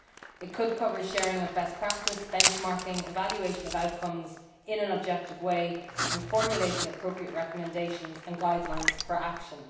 It could cover the sharing of best practice, benchmarking, the evaluation of outcomes in an objective way and formulating appropriate recommendations and guidelines for action.